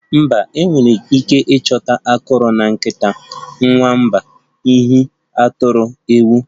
Mba, enwere ike ịchọta akọrọ na nkịta, nwamba, ehi, atụrụ, ewu